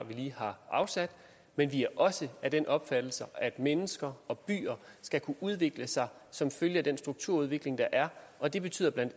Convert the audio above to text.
vi lige har afsat men vi er også af den opfattelse at mennesker og byer skal kunne udvikle sig som følge af den strukturudvikling der er og det betyder bla